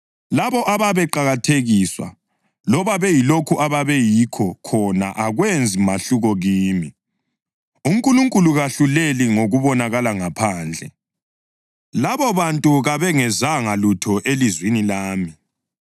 Labo ababeqakathekiswa, loba beyilokho ababeyikho khona akwenzi mahluko kimi; uNkulunkulu kahluleli ngokubonakala ngaphandle, labobantu kabengezanga lutho elizwini lami.